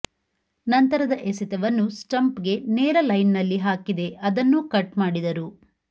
ನಂತರದ ಎಸೆತವನ್ನು ಸ್ಪಂಪ್ಗೆ ನೇರ ಲೈನ್ನಲ್ಲಿ ಹಾಕಿದೆ ಅದನ್ನೂ ಕಟ್ ಮಾಡಿದರು